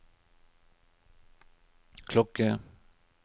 klokke